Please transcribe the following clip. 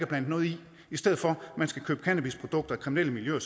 blandet noget i i stedet for at man skal købe cannabisprodukter af kriminelle miljøer